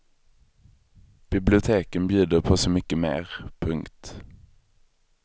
Biblioteken bjuder på så mycket mer. punkt